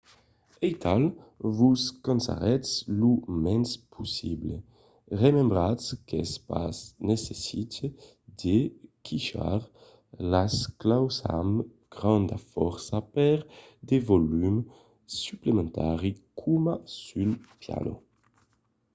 aital vos cansaretz lo mens possible. remembratz qu’es pas necite de quichar las claus amb granda fòrça per de volum suplementari coma sul piano